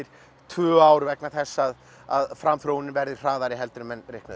tvö ár vegna þess að að framþróunin verði hraðari heldur en reiknað